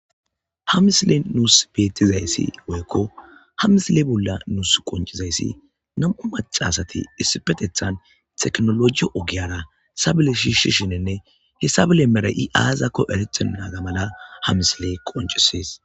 ha misile nuus bettizayssi woykko ha misile bolla nuus qoncizayssi nam7u macasati issipetethan teknologiyo ogiyara sabile shiishi shinenne hessabile mera7i aazakko erethe naaza mala ha misiley qoncisees